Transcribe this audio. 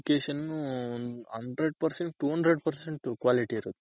ಅಲ್ಲಿ education Hundred percent two hundred percent quality ಇರುತ್ತೆ.